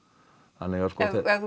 þannig að ef þú